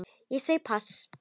Ég segi pass.